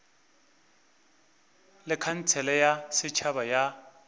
le khansele ya setšhaba ya